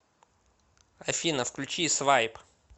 афина включи свайп